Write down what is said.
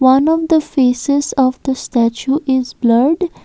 one of the faces of the statue is blurred.